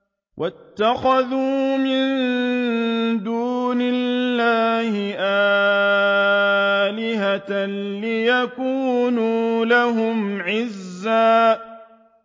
وَاتَّخَذُوا مِن دُونِ اللَّهِ آلِهَةً لِّيَكُونُوا لَهُمْ عِزًّا